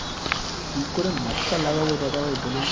কি করে মসকা লাগাব দাদাভাই